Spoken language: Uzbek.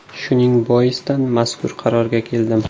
Shuning boisdan mazkur qarorga keldim.